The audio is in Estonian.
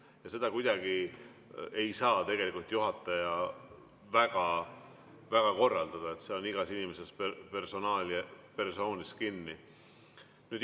Ja seda kuidagi ei saa juhataja väga korraldada, see on iga inimese persoonis kinni.